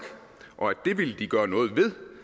og at det de ville gøre noget ved